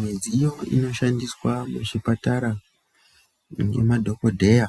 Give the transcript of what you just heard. Midziyo inoshandiswa muzvipatara Nemadhokodheya